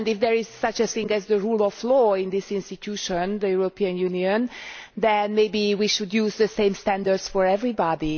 If there is such a thing as the rule of law in this institution, the European Union, then maybe we should use the same standards for everybody.